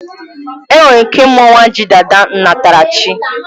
Enwere ike ịmụ nwa ji dada nnatara chi